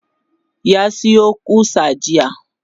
ya Sayo ƙusa jiya